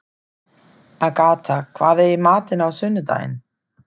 Agatha, hvað er í matinn á sunnudaginn?